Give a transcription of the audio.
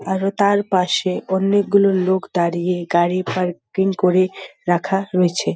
আরো তার পশে অনেক গুলো লোক দাঁড়িয়ে গাড়ি পার্কিং করে রাখা রয়েছে।